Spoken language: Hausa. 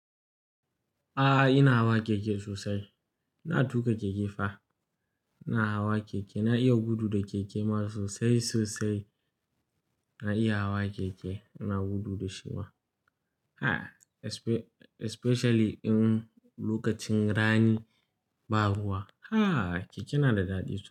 A'a ina hawa keke sosai. Na tuƙa keke fa. Na hawa keke, na iya gudu da keke masu sosai sosai. Na iya hawa keke, ina gudu da shi ma. A'a especially in lokacin rani, ba ruwa. Hah keke na da daɗi sosai.